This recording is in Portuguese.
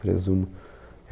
Presumo.